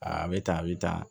Aa bɛ tan a bɛ tan